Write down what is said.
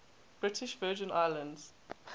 british virgin islands